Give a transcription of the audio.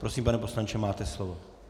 Prosím, pane poslanče, máte slovo.